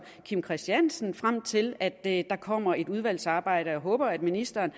kim christiansen frem til at der kommer et udvalsarbejde og jeg håber at ministeren